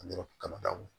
kaba d'a ma